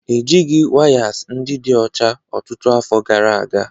Ejighị wires ndị dị ọcha ọtụtụ afọ gara aga